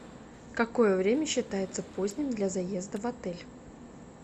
какое время считается поздним для заезда в отель